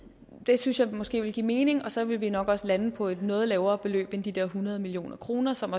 det synes jeg måske vil give mening og så vil vi nok også lande på et noget lavere beløb end de der hundrede million kr som